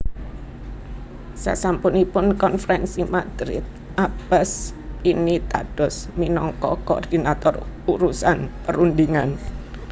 Sasampunipun Konferensi Madrid Abbas pinitados minangka koordinator urusan perundhingan